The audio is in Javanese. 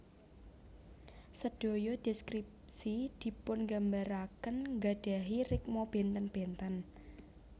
Sedaya deskripsi dipungambaraken nggadahi rikma benten benten